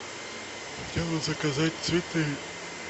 хотел бы заказать цветы